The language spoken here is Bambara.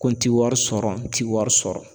Ko n ti wari sɔrɔ n ti wari sɔrɔ